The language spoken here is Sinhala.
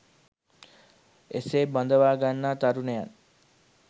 එසේ බඳවා ගන්නා තරුණයන්